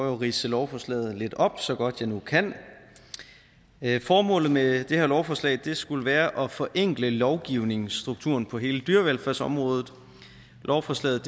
at ridse lovforslaget lidt op så godt jeg nu kan formålet med det her lovforslag skulle være at forenkle lovgivningsstrukturen på hele dyrevelfærdsområdet lovforslaget